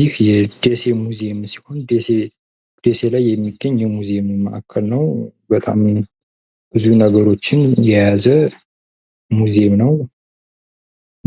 ይህ የደሴ ሙዚየም ሲሆን ደሴ ላይ የሚገኝ የሙዚዬም ማእከል ነው። በጣም ብዙ ነገሮችን የያዘ ሙዚየም ነው።